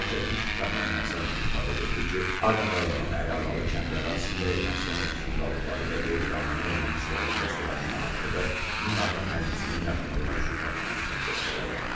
Zərər çəkmiş Kamran Həsənov ifadə verdi ki, Ağdam rayonunun Əliağalı kəndi ərazisində Ermənistan ordusunun qalıqları və qeyri-qanuni erməni silahlı dəstələrinin atdığı minaatan mərmisinin yaxınlığına düşüb partlaması nəticəsində yaralanıb.